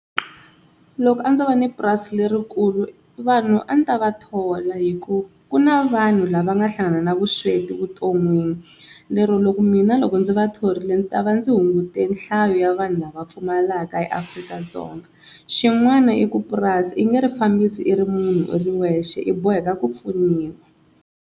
Loko a ndzo va ni purasi lerikulu vanhu a ndzi ta va thola hi ku ku na vanhu lava nga hlangana na vusweti vuton'wini lero loko mina loko ndzi va thorile ni ta va ndzi hungutile nhlayo ya vanhu lava pfumalaka eAfrika-Dzonga. Xin'wana i ku purasi i nge ri fambisa i ri munhu i ri wexe i boheka ku pfuniwa.